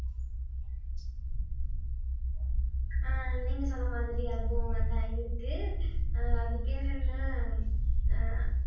ஆஹ் நீங்க சொன்ன மாதிரி அனுபவங்கள்லாம் இருக்கு ஆஹ் அது பேர் என்ன அஹ்